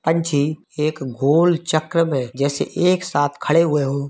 पंछी एक गोल चक्र में जैसे एक साथ खड़े हुए हो।